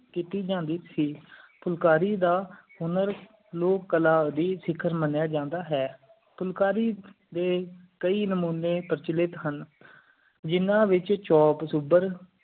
ਕੀਤੀ ਜਾਂਦੀ ਸੀ ਫੁਲਕਾਰੀ ਦਾ ਹੁਨਰ ਲੋਕ ਕਲਾ ਦੀ ਸਿਖਰ ਮਾਨ੍ਯ ਜਾਂਦਾ ਹੈ ਫੁਲਕਾਰੀ ਡੇ ਕਈ ਨਾਮੋਨੀ ਪ੍ਰਚੂਲੈਟ ਹਾਂ ਜਿੰਨਾ ਵਿਚ ਚੋਪ ਸੁਧਾਰ